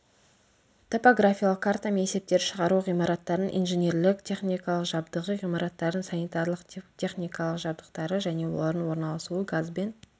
топографиялық картамен есептер шығару ғимараттардың инженерлік техникалық жабдығы ғимараттардың санитарлық техникалық жабдықтары және олардың орналасуы газбен